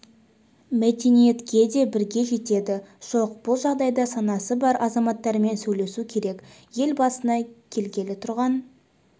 мәдениетке де бірге жетеді жоқ бұл жағдайда санасы бар азаматтармен сөйлесу керек ел басына келгелі тұрған